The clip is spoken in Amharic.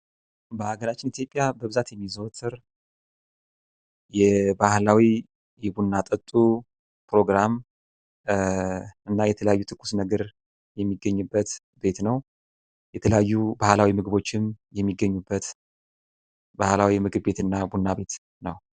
በሀገራችን ኢትዮጵያ በብዛት የሚዘወተር የባህላዊ የቡና ጠጡ ፕሮግራም እና የተለያዩ ትኩስ ነገር የሚገኝበት ቤት ነው። የተለያዩ ባህላዊ ምግቦችም የሚገኙበት ባህላዊ ምግብ ቤት እና ቡና ቤት ነው።